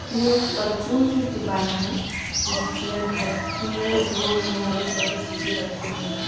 ये एक परचून की दुकान है जिसमें घर में उपयोग होने वाली सभी चीज रखी हुई है।